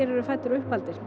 fæddir og uppaldir